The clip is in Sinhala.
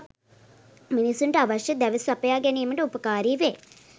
මිනිසුන්ට අවශ්‍ය දැව සපයා ගැනීමට උපකාරී වේ.